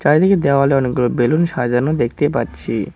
চারিদিকে দেওয়ালে অনেকগুলো বেলুন সাজানো দেখতে পাচ্ছি।